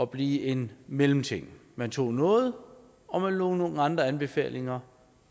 blive en mellemting man tog noget og man lod nogle andre anbefalinger